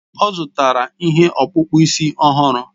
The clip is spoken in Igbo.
Ọ zụtara ihe ọkpụkpụ isi ọhụrụ